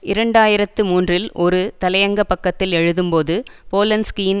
இரண்டு ஆயிரத்து மூன்றில் ஒரு தலையங்க பக்கத்தில் எழுதும் போது போலன்ஸ்கியின்